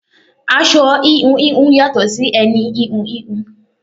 Aṣọ íhùn íhùn yàtò sì ẹni íhùn íhùn.